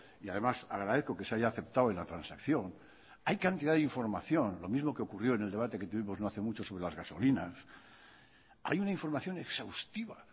y además agradezco que se haya aceptado en la transacción hay cantidad de información lo mismo que ocurrió en el debate que tuvimos no hace mucho sobre las gasolinas hay una información exhaustiva